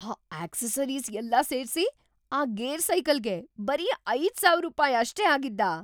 ಆ ಅಕ್ಸೆಸರೀಸ್ ಎಲ್ಲಾ ಸೇರ್ಸಿ ಆ ಗೇರ್ ಸೈಕಲ್‌ಗೆ ಬರೀ ಐದು ಸಾವಿರ ರೂಪಾಯ್‌ ಅಷ್ಟೇ ಆಗಿದ್ದಾ?